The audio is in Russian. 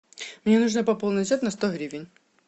мне нужно пополнить счет на сто гривен